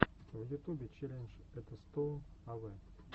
в ютубе челлендж этостоун авэ